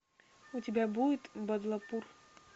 у тебя будет бадлапур